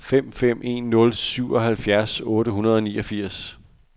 fem fem en nul syvoghalvfjerds otte hundrede og niogfirs